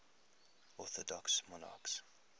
orthodox monarchs